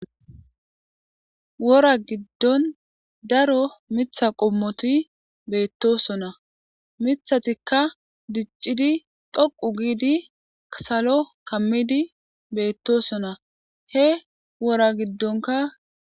Wora giddon daro mitha qommoti beettosona mithatikka diccidi dhoqu giidi kasalo kammidi beettosona he wora giddonka.